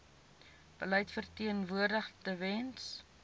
beleid verteenwoordig tewens